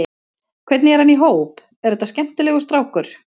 Hvernig er hann í hóp, er þetta skemmtilegur strákur?